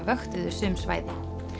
vöktuðu sum svæði